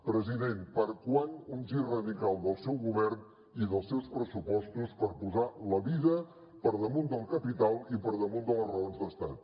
president per a quan un gir radical del seu govern i dels seus pressupostos per posar la vida per damunt del capital i per damunt de les raons d’estat